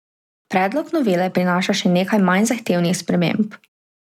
Predlog novele prinaša še nekaj manj zahtevnih sprememb.